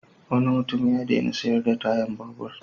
Wani mutum ya daina sayar da tayar babur.